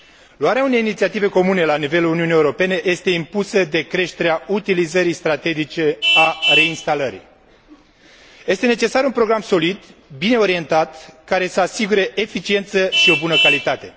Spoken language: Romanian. Luarea unei inițiative comune la nivelul Uniunii Europene este impusă de creșterea utilizării strategice a reinstalării. Este necesar un program solid, bine orientat, care să asigure eficiență și o bună calitate.